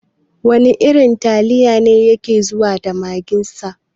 Wana irin taliya ne yake zuwa da magin sa?